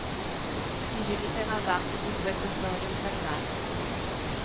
Si želite navdahniti svoj poslovni vsakdan?